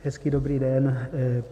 Hezký dobrý den.